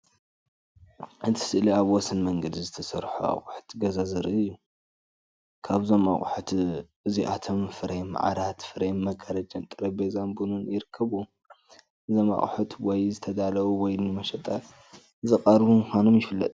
እቲ ስእሊ ኣብ ወሰን መንገዲ ዝተሰርሑ ኣቑሑት ገዛ ዘርኢ እዩ። ካብዞም ኣቑሑት እዚኣቶም ፍሬም ዓራት፡ ፍሬም መጋረጃን ጠረጴዛ ቡንን ይርከብዎም። እዞም ኣቑሑት ወይ ዝተዳለዉ ወይ ንመሸጣ ዝቐርቡ ምዃኖም ይፍለጥ።